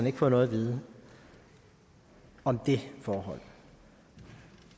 ikke fået noget at vide om det forhold